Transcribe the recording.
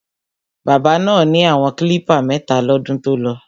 Bábà náà ni àwọn klípà mẹ́ta lọ́dún tolọ.